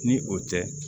Ni o tɛ